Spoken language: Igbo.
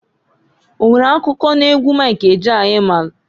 O nwere akụkọ n'egwu Mik Ejeaya i maalụ?